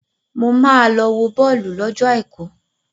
Mo máa lọ wo bọ́ọ̀lù lọ́jọ àìkú.